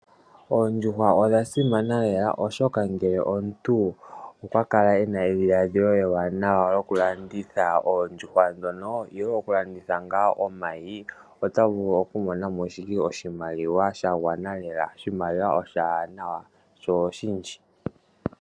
Oondjuhwa odha simana lela oshoka ngele omuntu okwa kala e na edhiladhilo ewanawa lyokulanditha oondjuhwa ndhono, ihe okulandithwa ngaa omayi, ota vulu oku mona mo oshimaliwa sha gwana lela, sho oshindji.